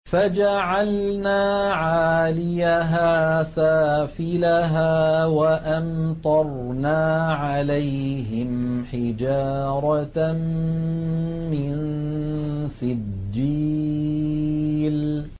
فَجَعَلْنَا عَالِيَهَا سَافِلَهَا وَأَمْطَرْنَا عَلَيْهِمْ حِجَارَةً مِّن سِجِّيلٍ